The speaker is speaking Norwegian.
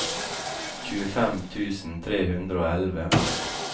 tjuefem tusen tre hundre og elleve